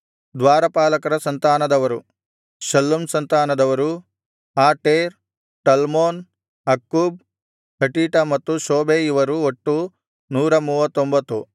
ದ್ವಾರಪಾಲಕರ ಸಂತಾನದವರು ಶಲ್ಲೂಮ್ ಸಂತಾನದವರು Ater Talmon Akkub Hatita ಮತ್ತು ಶೋಬೈ ಇವರು ಒಟ್ಟು 139